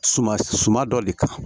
Suma suma dɔ de kan